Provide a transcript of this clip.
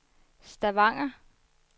Stavanger